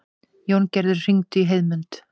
Jóngerð, hringdu í Heiðmund.